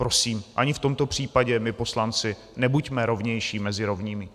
Prosím, ani v tomto případě my poslanci nebuďme rovnější mezi rovnými!